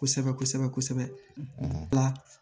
Kosɛbɛ kosɛbɛ kosɛbɛ la